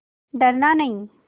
डरना नहीं